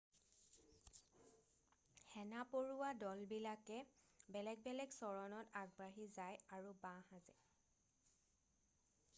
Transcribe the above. সেনা পৰুৱা দল বিলাকে বেলেগ বেলেগ চৰণত আগবাঢ়ি যায় আৰু বাঁহ সাজে